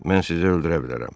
Mən sizi öldürə bilərəm.